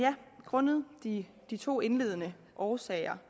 grundet de de to indledende årsager